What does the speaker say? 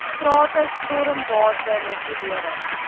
strate stormwater regulering